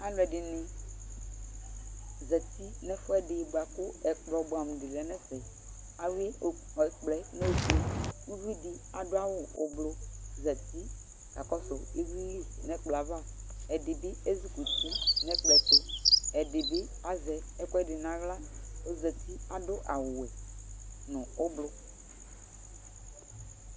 alʊɛdɩnɩ zɛtɩ nʊɛfʊɛdɩ bʊakʊ ɛkplɔ bʊamʊdɩ lɛnɛfɛ ɔlɛ ofʊé ʊvɩdɩ adʊawʊ oblo zɛti kakɔsʊ ɩvlɩl nɛkplɔava ɛdɩbɩ ézʊkʊtɩ nɛkplɔɛtʊ ɛdɩbɩ azɛ ɛkʊɛdɩ nala ɔzɛtɩ adʊ awʊwɛ nʊ oblo